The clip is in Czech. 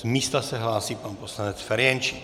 Z místa se hlásí pan poslanec Ferjenčík.